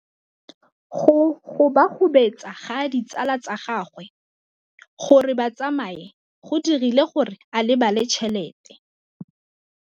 Go gobagobetsa ga ditsala tsa gagwe, gore ba tsamaye go dirile gore a lebale tšhelete.